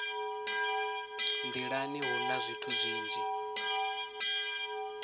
nḓilani hu na zwithu zwinzhi